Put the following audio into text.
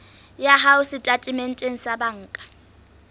ya hao setatementeng sa banka